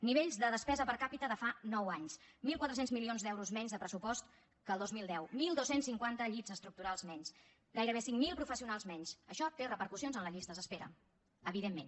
nivells de despesa per capita de fa nou anys mil quatre cents milions d’euros menys de pressupost que el dos mil deu dotze cinquanta llits estructurals menys gairebé cinc mil professionals menys això té repercussions en les llistes d’espera evidentment